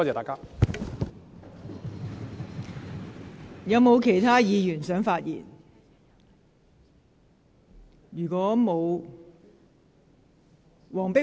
是否有其他議員想發言？